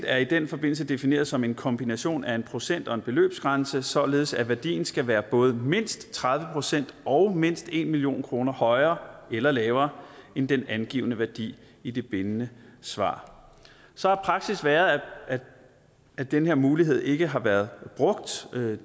er i den forbindelse defineret som en kombination af en procent og en beløbsgrænse således at værdien skal være både mindst tredive procent og mindst en million kroner højere eller lavere end den angivne værdi i det bindende svar så har praksis været at den her mulighed ikke har været brugt